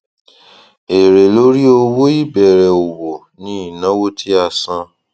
èrè lórí owó ìbẹrẹ òwò ni ìnáwó tí a san